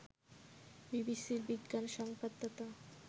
বিবিসির বিজ্ঞান সংবাদদাতা